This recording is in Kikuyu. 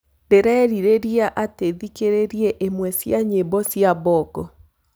ndĩreriria ati thikĩrirĩeĩmwe cĩa nyĩmbo cĩa bongo